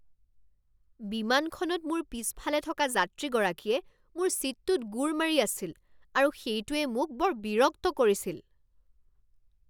বিমানখনত মোৰ পিছফালে থকা যাত্ৰীগৰাকীয়ে মোৰ ছীটটোত গোৰ মাৰি আছিল আৰু সেইটোৱে মোক বৰ বিৰক্ত কৰিছিল।